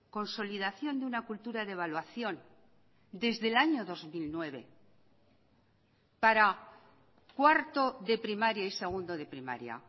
consolidación de una cultura de evaluación desde el año dos mil nueve para cuarto de primaria y segundo de primaria